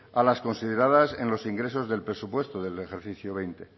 a las consideradas en los ingresos del presupuesto del ejercicio veinte